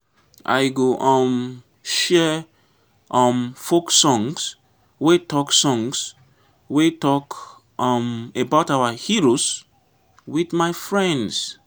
i go um share um folk songs wey talk songs wey talk um about our heroes with my friends.